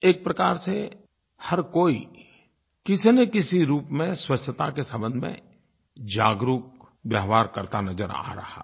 एक प्रकार से हर कोई किसीनकिसी रूप में स्वच्छता के संबंध में जागरूक व्यवहार करता नज़र आ रहा है